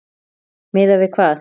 Miðað við hvað?